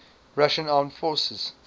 russian armed forces